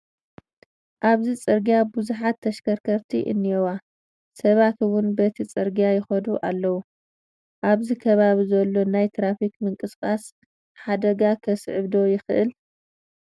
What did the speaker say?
ኣብዚ ፅርጊያ ብዙሓት ተሸከርከርቲ እኔዋ፡፡ ሰባት እውን በቲ ፅርጊያ ይኸዱ ኣሎዉ፡፡ ኣብዚ ከባቢ ዘሎ ናይ ትራፊክ ምንቅስቓስ ሓደጋ ክስዕብ ዶ ይኽእል?